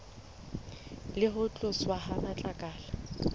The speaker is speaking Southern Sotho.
le ho tloswa ha matlakala